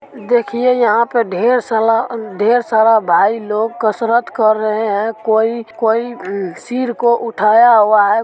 देखिए यहां पे ढेर साला ढेर सारा भाई लोग कसरत कर रहे है कोई कोई सिर को उठाया हुआ है --